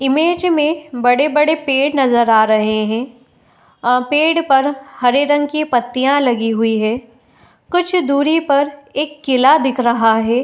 Image में बड़े-बड़े पेड़ नजर आ रहे हैं | आ पेड़ पर हरे रंग की पत्तियाँ लगी हुई हैं | कुछ दूरी पर एक किला दिख रहा है।